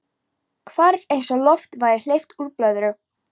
Hvarf eins og lofti væri hleypt úr blöðru.